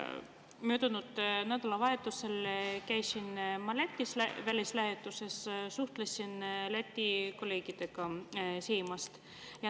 Möödunud nädalavahetusel käisin ma Lätis välislähetuses, suhtlesin Läti kolleegidega Seimist.